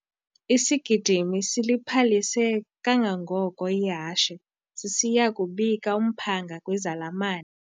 Isigidimi siliphalise kangangoko ihashe sisiya kubika umphanga kwizalamane.